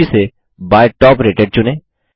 सूची से by top rated चुनें